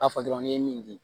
A fɔ dɔrɔn n'i ye min di